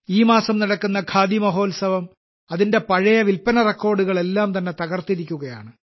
ഈ മാസം നടക്കുന്ന ഖാദി മഹോത്സവം അതിന്റെ പഴയ വിൽപ്പന റെക്കോർഡുകളെല്ലാം തന്നെ തകർത്തിരിക്കുകയാണ്